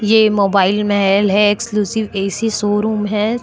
यह मोबाइल महल है exclusive A. C. एक शोरूम है।